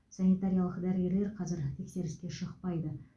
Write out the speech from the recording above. санитариялық дәрігерлер қазір тексеріске шықпайды